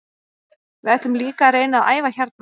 Við ætlum líka að reyna að æfa hérna.